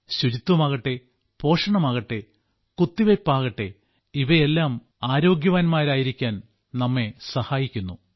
ശുചിത്വമാകട്ടെ പോഷണമാകട്ടെ കുത്തിവെയ്പ്പാകട്ടെ ഇവയെല്ലാം ആരോഗ്യവാന്മാരായിരിക്കാൻ നമ്മെ സഹായിക്കുന്നു